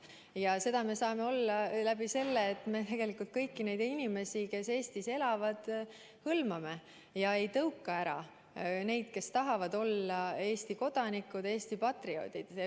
Ja seda me saame olla, kui me arvestame kõiki neid inimesi, kes Eestis elavad, kui me ei tõuka ära neid, kes tahavad olla Eesti kodanikud ja Eesti patrioodid.